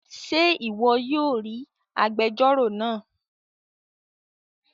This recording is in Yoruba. Ṣe ìwò yóò ríi àgbèjọro náa